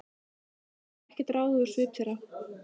Hann gat ekkert ráðið úr svip þeirra.